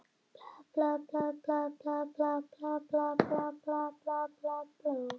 Eiríkur tók í höndina á þeim, hneigði sig fyrir bekknum, setti upp hattinn og kvaddi.